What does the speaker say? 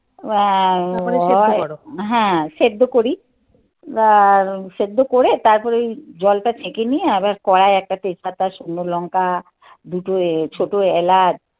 অ্যা হ্যাঁ সেদ্ধ করি. বা সেদ্ধ করে তারপরে ওই জলটা ছেকে নিয়ে আবার কড়াই একটাতে তেজ পাতা, শুকনো লঙ্কা, দুটো এ ছোট এলাচ